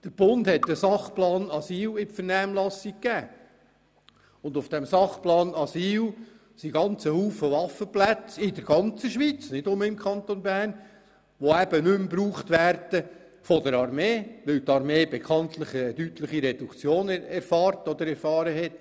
Der Bund gab den Sachplan Asyl in die Vernehmlassung, in dem sehr viele Waffenplätze in der ganzen Schweiz aufgeführt sind, die von der Armee nicht mehr gebraucht werden, weil diese bekanntlich eine deutliche Reduktion erfahren hat.